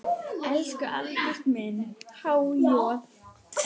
Elsku Albert minn, há joð.